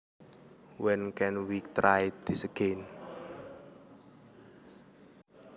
When can we try this again